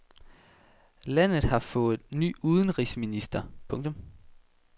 Landet har fået ny udenrigsminister. punktum